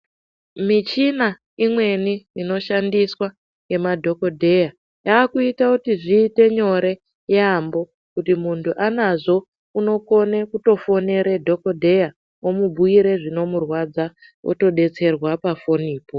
Michina imweni noshandiswa ngemadhokodheya yakuita kuti zviite nyore yaamho kuti muntu anazvo unokone kutofonere dhokodheya omubhuire zvinomurwadza otodetserwa pafonipo.